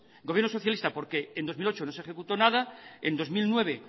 gobierno socialista porque en dos mil ocho no se ejecutó nada en dos mil nueve